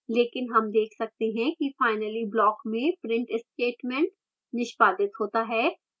लेकिन हम देख सकते हैं कि finally block में print statement निष्पादित होता है